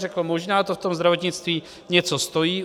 Řekl, možná to v tom zdravotnictví něco stojí.